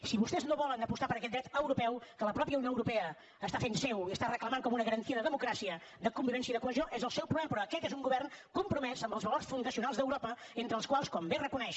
si vostès no volen apostar per aquest dret europeu que la mateixa unió europea fa seu i reclama com una garantia de democràcia de convivència i de cohesió és el seu problema però aquest és un govern compromès amb els valors fundacionals d’europa entre els quals com bé reconeix